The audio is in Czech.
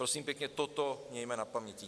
Prosím pěkně, toto mějme na paměti.